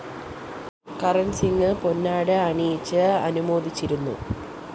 കരണ്‍സിംഗ് പൊന്നാട അണിയിച്ച് അനുമോദിച്ചിരുന്നു